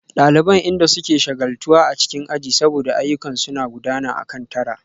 Daliban inda suke shagaltuwa a cikin aji saboda ayyukan suna gudana akan tara